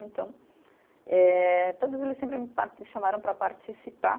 Então, eh todos eles sempre pa, me chamaram para participar.